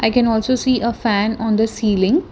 i can also see a fan on the ceiling.